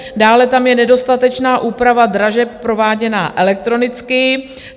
Dále tam je nedostatečná úprava dražeb prováděná elektronicky.